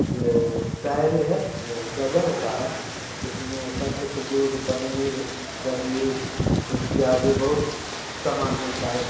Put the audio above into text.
जो डायरी है जो गजब का है इसमे सब कुछ दूध पनीर दही इत्यादि बहुत सामान मिलता है--